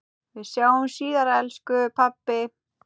Við sjáumst síðar elsku pabbi.